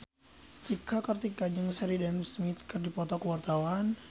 Cika Kartika jeung Sheridan Smith keur dipoto ku wartawan